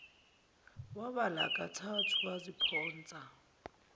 wabala kathathu basiphonsa